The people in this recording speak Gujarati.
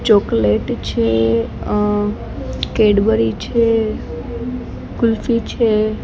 ચોકલેટ છે અ કેડબરી છે કુલ્ફી છે.